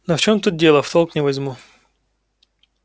но в чём тут дело в толк не возьму